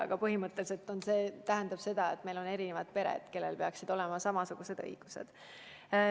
Aga põhimõtteliselt see lause tähendab seda, et meil on erinevad pered, kellel peaksid olema samasugused õigused.